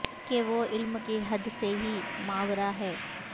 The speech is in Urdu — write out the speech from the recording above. کہ وہ علم کی حد سے ہی ماورا ہے